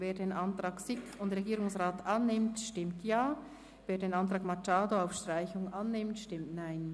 Wer den Antrag SiK und Regierungsrat annimmt, stimmt Ja, wer den Antrag Machado auf Streichung annimmt, stimmt Nein.